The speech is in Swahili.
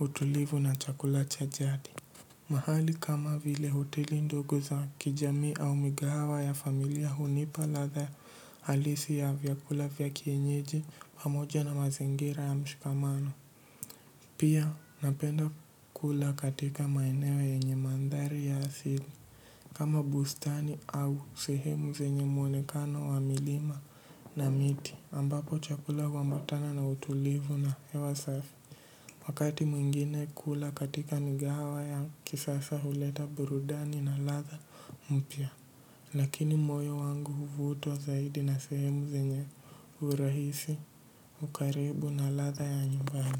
utulivu na chakula cha jadi. Mahali kama vile hoteli ndogo za kijamii au migahawa ya familia hunipa ladha halisi ya vyakula vya kienyeji pamoja na mazingira ya mshikamano. Pia napenda kula katika maeneo yenye mandhari ya asili. Kama bustani au sehemu zenye muonekano wa milima na miti ambapo chakula humbatana na utulivu na hewa safi. Wakati mwingine kula katika migahawa ya kisasa huleta burudani na ladha mpya. Lakini moyo wangu huvutwa zaidi na sehemu zenye; urahisi, ukarimu na ladha ya nyumbani.